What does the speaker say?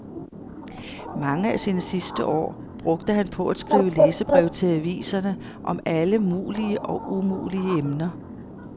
Mange af sine sidste år brugte han på at skrive læserbreve til aviserne om alle mulige og umulige emner.